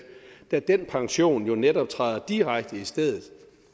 da den pension netop træder direkte i stedet